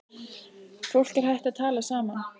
Fólk er hætt að tala saman.